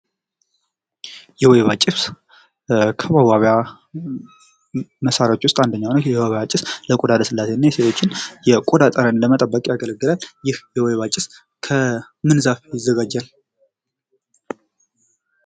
የወይባ ጭስ ከመዋቢያ መሳርያዎች ውስጥ አንደኛው ነው። የወይባ ጭስ ለቆዳ ልስላሴና የሴቶች የቀዳ ጠረን ለመጠበቅ ያገለግላል። ይህ የወይባ ጭስ ከምን ዛፍ ይዘጋጃል?